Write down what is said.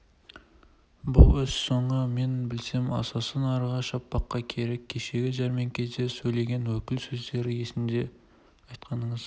бұл іс соңы мен білсем асасы насырға шаппаққа керек кешегі жәрмеңкеде сөйлеген өкіл сөзі есімде айтқаныңыз